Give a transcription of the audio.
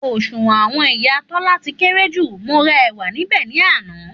Òṣùwọ̀n àwọn ìyá Tólá ti kéré ju, mo ra èwà níbè ní àná